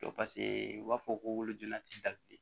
u b'a fɔ ko donna